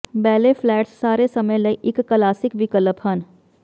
ballet flats ਸਾਰੇ ਸਮੇਂ ਲਈ ਇੱਕ ਕਲਾਸਿਕ ਵਿਕਲਪ ਹਨ